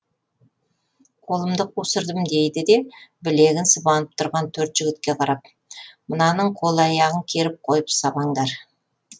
қолымды қусырдым дейді де білегін сыбанып тұрған төрт жігітке қарап мынаның қол аяғын керіп қойып сабаңдар